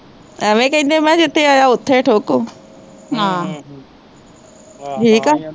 ਅਵੇ ਕਹਿੰਦੇ ਮੈਂ ਕਿਹਾ ਜਿੱਥੇ ਬਹਿਜਾ ਓਥੇ ਈ ਠੋਕੋ ਹਮ ਠੀਕ ਆ